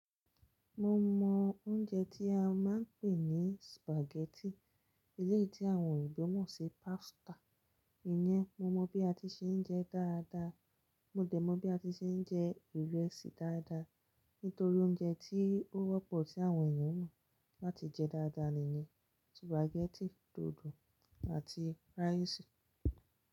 Mo mọ oúnjẹ tí a máa ń pè ní spaghetti, eléyìí tí àwọn òyìnbó mọ̀ sí pasta. Ìyẹn, mo mọ bí a ti ṣe ń jẹ dáadáa, mo dẹ̀ mọ bí a ti ṣe ń jẹ ìrẹsì dáadáa. Nítorí oúnjẹ tí ó wọ́pọ̀ tí àwọn èèyàn mọ̀ láti jẹ dáadáa niyẹn spaghetti, dòdò àti rice.